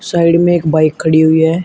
Side में एक bike खड़ी हुई है।